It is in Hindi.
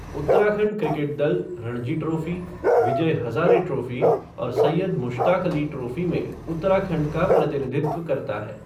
उत्तराखंड क्रिकेट दल रणजी ट्रॉफ़ी, विजय हज़ारे ट्रॉफ़ी और सैयद मुश्ताक़ अली ट्रॉफ़ी में उत्तराखंड का प्रतिनिधित्व करता है।